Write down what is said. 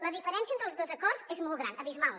la diferència entre els dos acords és molt gran abismal